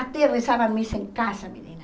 Até rezava missa em casa, menina.